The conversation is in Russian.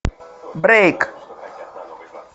брейк